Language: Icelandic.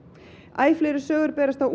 æ fleiri sögur berast af